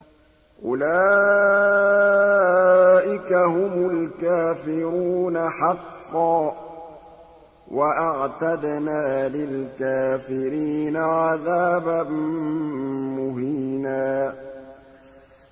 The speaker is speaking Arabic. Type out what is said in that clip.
أُولَٰئِكَ هُمُ الْكَافِرُونَ حَقًّا ۚ وَأَعْتَدْنَا لِلْكَافِرِينَ عَذَابًا مُّهِينًا